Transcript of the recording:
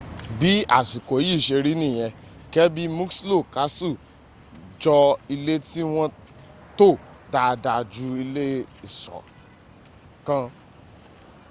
bí àsìkò yìí ṣe rí nìyẹn kirby muxloe castle jọ ilé tí wọ́n tò dáadáa ju ilé ìṣọ́ l